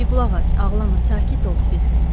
Di qulaq as, ağlama, sakit ol, Kirisk.